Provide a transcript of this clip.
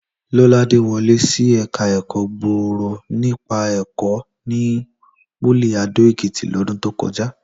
Lọ́ládé wọlé sí ẹ̀ka ẹ̀kọ́ gbòòrò nípa ẹ̀kọ́ ní pólì Adó-Èkìtì lọ́dún tó kọjá